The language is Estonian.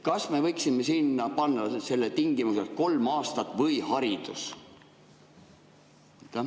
Kas me võiksime sinna panna selle tingimuse, et kolm aastat või haridus?